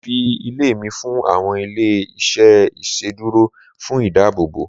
mo fi ilé mi fún àwọn ilé iṣẹ iṣeduro fún ìdáàbòbò